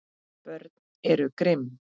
Börn eru grimm.